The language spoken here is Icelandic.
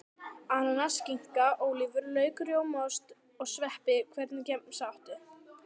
Ananas skinka, ólívur, lauk rjómaost, og sveppi Hvernig gemsa áttu?